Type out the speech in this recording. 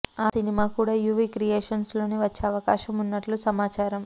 ఆ సినిమా కూడా యూవీ క్రియేషన్స్ లోనే వచ్చే అవకాశం ఉన్నట్లు సమాచారం